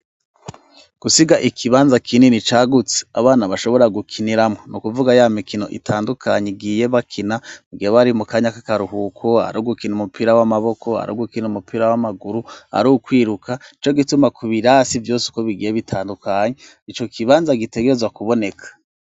Gusiga ikibanza kinini cya gutse abana bashobora gukiniramo nu kuvuga ya mikino itandukanye igiye bakina mugihe bari mu kanya ka karuhuko ari ogukina umupira w'amaboko ari ogukina umupira w'amaguru ari ukwiruka cyo gituma ku birasi byose uko bigiye bitandukanye icyo kibanza gitegerezwa kuboneka.